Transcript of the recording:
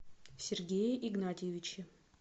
сергее игнатьевиче